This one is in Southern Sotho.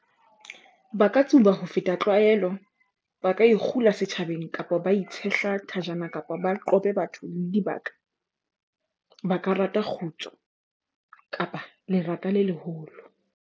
Ba ka tsuba ho feta tlwaelo, ba ka ikgula setjhabeng kapa ba itshehla thajana kapa ba qobe batho le dibaka. Ba ka rata kgutso kapa lerata le leholo.